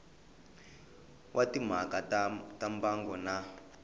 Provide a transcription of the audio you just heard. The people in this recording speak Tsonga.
wa timhaka ta mbango na